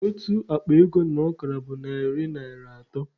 Otu akpa ego na ọkara bụ narị naịra atọ